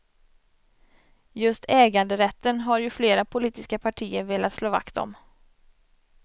Just äganderätten har ju flera politiska partier velat slå vakt om.